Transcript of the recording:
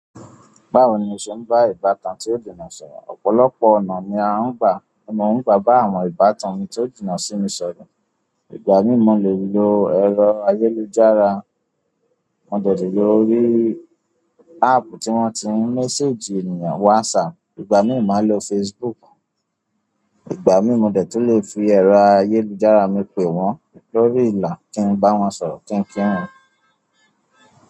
Báwo ni o ṣe ń bá ìbátan tí o jìnnà sọ̀rọ̀? Ọ̀pọ̀lọpọ̀ ọ̀nà ni a ń gbà, mo ń gbà bá àwọn ìbátan mi tó jìnnà sí mi sọ̀rọ̀. Ìgbà mí mo lẹ́ lo ẹ̀rọ ayélujára, mo de le lórí áàpù tí wọ́n ti ń méséjì ènìyàn, WhatsApp, ìgbà mí ò máa lo Facebook. Ìgbà mí mo dẹ̀ tún le fi ẹ̀rọ ayélujára mi pẹ̀ wọ́n lórí ìlà kí n bá wọn sọ̀rọ̀ kíń kí wọn.